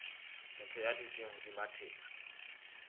motho ya dutseng hodima thepa